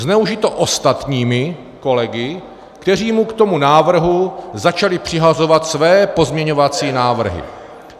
Zneužito ostatními kolegy, kteří mu k tomu návrhu začali přihazovat své pozměňovací návrhy.